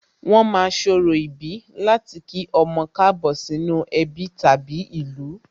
Wón ma ń ṣorò ìbí láti kí ọmọ Káàbọ̀ sínú ẹbí tàbí ìlú